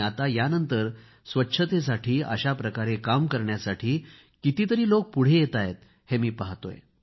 आता यानंतर स्वच्छतेसाठी अशा प्रकारे काम करण्यासाठी कितीतरी लोक पुढे आले आहेत हे मी पाहतो आहे